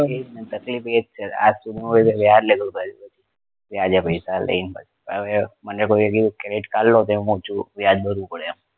તકલીફ એ જ છે આજ સુધી માં વ્યાજ લેણું ભર્યું નથી વ્યાજે પૈસા લઈને હવે મને કોઈએ એ કીધું credit card લો તો એમાં વ્યાજ ભરવું પડે એમ